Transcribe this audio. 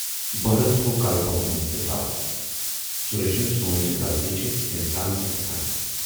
بہرن تھوو کلہٕ بۅن کُن تہٕ دراو۔ سُریشن سوٗنچ زِغلطی چھَ اِنسانسٕے گَژھان۔